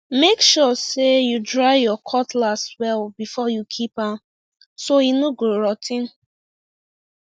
make sure say you dry your cutlass well before you keep am so e no go rot ten